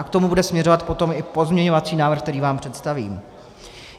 A k tomu bude směřovat potom i pozměňovací návrh, který vám představím.